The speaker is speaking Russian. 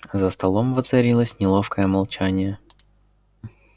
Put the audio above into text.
за столом воцарилось неловкое молчание